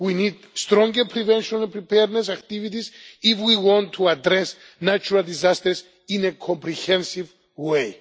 We need stronger prevention and preparedness activities if we want to address natural disasters in a comprehensive